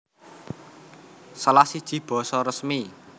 Salah siji basa resmi